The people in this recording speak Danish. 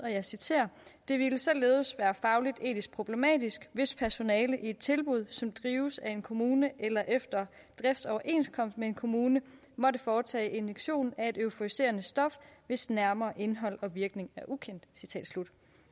og jeg citerer det ville således være fagligt etisk problematisk hvis personale i et tilbud som drives af en kommune eller efter driftsoverenskomst med en kommune måtte foretage injektion af et euforiserende stof hvis nærmere indhold og virkning er ukendt